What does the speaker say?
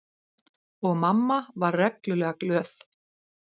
Og mamma var reglulega glöð.